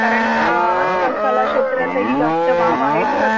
कारण अ आजकाल कला क्षेत्रात ही जास्त वाव आहे .